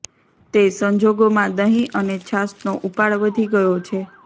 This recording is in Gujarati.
તે સંજોગોમાં દહીં અને છાશનો ઉપાડ વધી ગયો છે